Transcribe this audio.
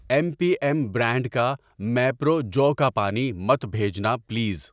M P M brand کا میپرو جو کا پانی مت بھیجنا پلیز۔